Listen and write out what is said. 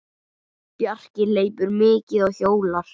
Bjarki hleypur mikið og hjólar.